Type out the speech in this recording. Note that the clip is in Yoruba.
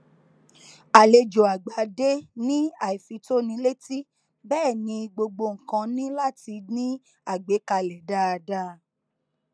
àlejò àgbà dé ní àìfitónilétí bẹẹ ni gbogbo nnkan ní láti ní àgbékalẹ dáadáa